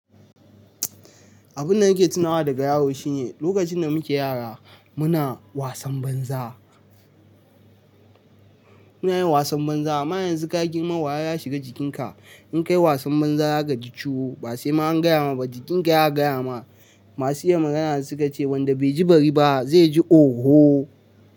Abun da nake tunawa daga yaro shine lokacin da muke yara muna wasan banza, muna yin wasan banza. Amma yanzu ka girma wayo ya shiga jikinka In ka yi wasan banza za ka ji ciwo. Ba sai ma an gaya ma ba jikinka ya gaya ma. Masu iya magana su ka ce wanda bai ji bari ba zai ji oho.